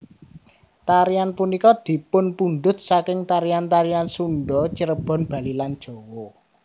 Tarian punika dipunpundhut saking tarian tarian Sunda Cirebon Bali lan Jawa